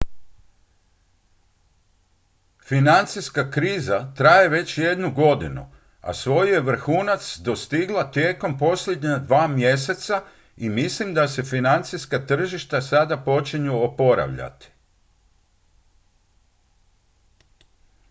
financijska kriza traje već jednu godinu a svoj je vrhunac dostigla tijekom posljednja dva mjeseca i mislim da se financijska tržišta sada počinju oporavljati